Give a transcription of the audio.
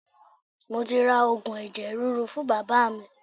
Mo ti ra Ògùn ẹ̀jẹ̀ ríru fún Bàbá mi.